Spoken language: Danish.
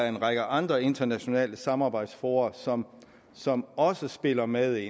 en række andre internationale samarbejdsfora som som også spiller med